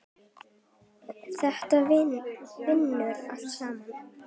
Þetta vinnur allt saman.